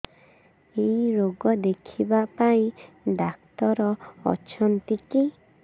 ଏଇ ରୋଗ ଦେଖିବା ପାଇଁ ଡ଼ାକ୍ତର ଅଛନ୍ତି କି